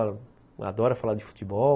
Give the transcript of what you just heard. Adora falar de futebol.